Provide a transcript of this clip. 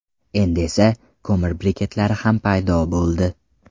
Endi esa ko‘mir briketlari ham paydo bo‘ldi.